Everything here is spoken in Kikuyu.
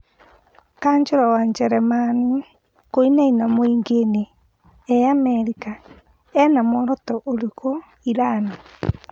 Kanjũra wa Jeremani kũinaina műingĩinĩ Ĩ Amerika ĩna muoroto ũrĩkũ Irani?